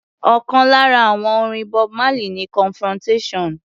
Ọ̀kan lára àwọn àwo-orin Bob Marley ni Confrontation.